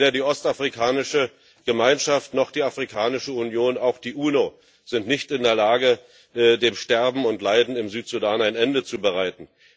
Weder die Ostafrikanische Gemeinschaft oder die Afrikanische Union noch die Vereinten Nationen sind in der Lage, dem Sterben und Leiden im Südsudan ein Ende zu bereiten.